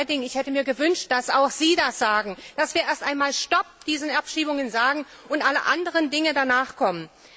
Und Frau Reding, ich hätte mir gewünscht, dass auch Sie fordern, dass wir erst einmal Stopp zu diesen Abschiebungen sagen und alle anderen Dinge danach kommen.